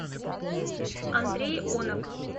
андрей онок